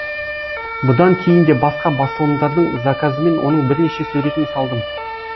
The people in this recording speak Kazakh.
бұдан кейін де басқа басылымдардың заказымен оның бірнеше суретін салдым